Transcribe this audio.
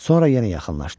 Sonra yenə yaxınlaşdı.